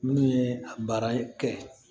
Minnu ye a baara kɛ